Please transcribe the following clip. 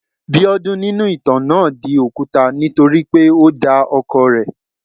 Biodun nínú ìtàn náà di òkúta nítorí pé o da ọkọ rẹ̀.